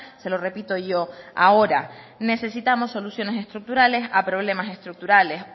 se lo repito yo ahora necesitamos soluciones estructurales a problemas estructurales